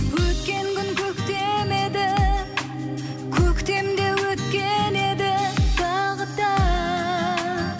өткен күн көктем еді көктем де өткен еді тағы да